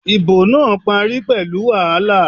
Ìbò náà parí pẹ̀lú wàhálà